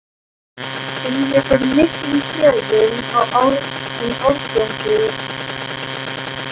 Finnurðu fyrir miklum kröfum um árangur hjá Val?